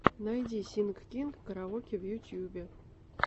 найди синг кинг караоке в ютубе